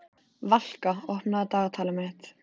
Valka, opnaðu dagatalið mitt.